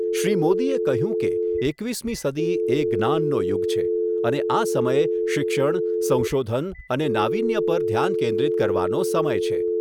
શ્રી મોદીએ કહ્યું કે એકવીસમી સદી એ જ્ઞાનનો યુગ છે, અને આ સમય શિક્ષણ, સંશોધન અને નાવીન્ય પર ધ્યાન કેન્દ્રિત કરવાનો સમય છે.